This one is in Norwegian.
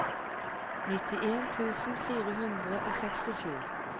nittien tusen fire hundre og sekstisju